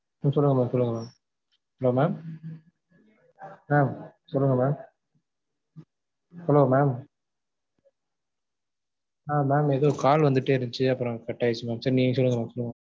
சொல்லுங்க mam சொல்லுங்க mam hello mam mam சொல்லுங்க mam hello mam ஆஹ் mam ஏதோ call வந்துட்டே இருந்துச்சு அப்பறம் cut ஆயிடுச்சு சரி நீங்க சொல்லுங்க mam சொல்லுங்க mam